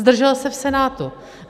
Zdržel se v Senátu.